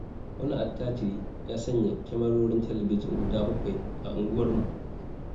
Wani attajiri ya sanya kyamarorin talabijin guda 7 a unguwarmu.